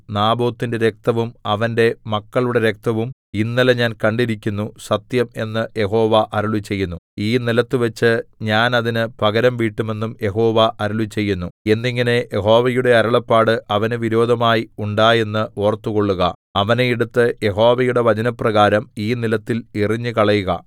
നാബോത്തിന്റെ രക്തവും അവന്റെ മക്കളുടെ രക്തവും ഇന്നലെ ഞാൻ കണ്ടിരിക്കുന്നു സത്യം എന്ന് യഹോവ അരുളിച്ചെയ്യുന്നു ഈ നിലത്തുവെച്ച് ഞാൻ അതിന് പകരം വീട്ടുമെന്നും യഹോവ അരുളിച്ചെയ്യുന്നു എന്നിങ്ങനെ യഹോവയുടെ അരുളപ്പാട് അവന് വിരോധമായി ഉണ്ടായെന്ന് ഓർത്തുകൊള്ളുക അവനെ എടുത്ത് യഹോവയുടെ വചനപ്രകാരം ഈ നിലത്തിൽ എറിഞ്ഞുകളയുക